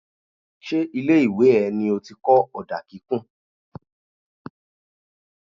Ṣé ilé ìwé ẹ ní ó ti kọ́ ọ̀dà kíkùn.?